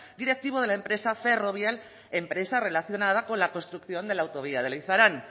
directivo de la empresa ferrovial empresa relacionada con la construcción de la autovía de leizarán